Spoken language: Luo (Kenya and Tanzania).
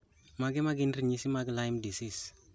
Mage magin ranyisi mag Lyme disease